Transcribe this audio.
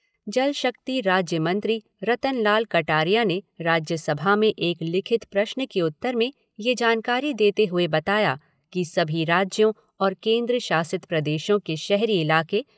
जल शक्ति राज्य मंत्री रतन लाल कटारिया ने राज्यसभा में एक लिखित प्रश्न के उत्तर में ये जानकारी देते हुए बताया कि सभी राज्यों और केन्द्र शासित प्रदेशों के शहरी इलाके